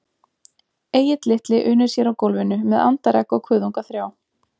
Egill litli unir sér á gólfinu með andaregg og kuðunga þrjá